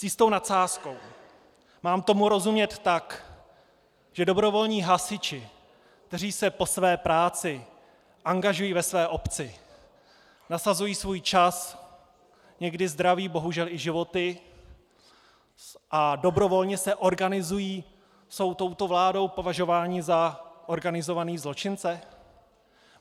S jistou nadsázkou - mám tomu rozumět tak, že dobrovolní hasiči, kteří se po své práci angažují ve své obci, nasazují svůj čas, někdy zdraví, bohužel i životy, a dobrovolně se organizují, jsou touto vládou považováni za organizované zločince?